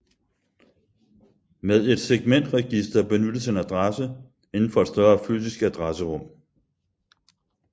Med et segmentregister benyttes en adresse inden for et større fysisk adresserum